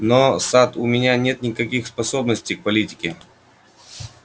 но сатт у меня нет никаких способностей к политике